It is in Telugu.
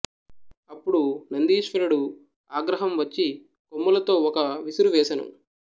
అపుడు నందీశ్వరుడు ఆగ్రహం వచ్చి కొమ్ములతొ ఒక విసురు వేసెను